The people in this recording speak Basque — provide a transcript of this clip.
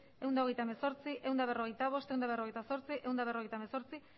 ehun eta hogeita hemezortzi ehun eta berrogeita bost ehun eta berrogeita zortzi ehun eta berrogeita hemezortzi